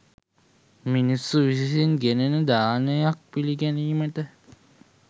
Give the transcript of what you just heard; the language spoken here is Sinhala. මිනිසුන් විසින් ගෙනෙන දානයක් පිළිගැනීමට